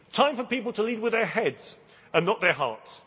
do. Time for people to lead with their heads and not their hearts.